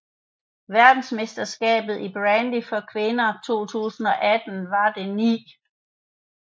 Verdensmesterskabet i bandy for kvinder 2018 var det 9